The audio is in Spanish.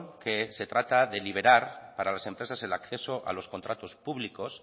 que se trata de liberar para las empresas el acceso a los contratos públicos